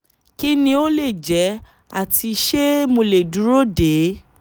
Kí ni ó lè jẹ́ ati ṣé mo le duro de?